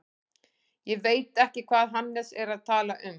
Ég veit ekki hvað Hannes er að tala um.